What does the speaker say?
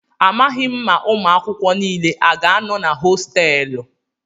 Amaghị m ma ụmụ akwụkwọ niile a ga-anọ na hostéélu